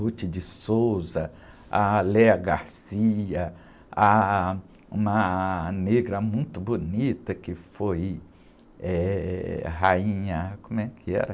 Ruth de Souza, a Léa Garcia, ah, uma negra muito bonita que foi, eh, rainha, como é que era?